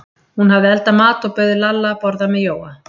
Hún hafði eldað mat og bauð Lalla að borða með Jóa.